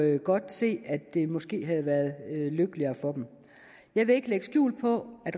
jo godt se at det måske havde været lykkeligere for dem jeg vil ikke lægge skjul på at